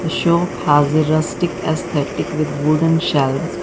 The shop hazirustic has a wooden shelfs.